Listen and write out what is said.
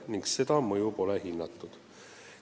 Täpsemalt pole seda mõju hinnatud.